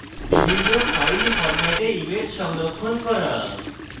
বিভিন্ন file ফরম্যাটে image সংরক্ষণ করা